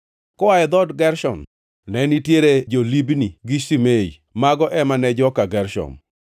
Koa e dhood Gershon, ne nitiere jo-Libni gi Shimei; mago ema ne joka Gershon.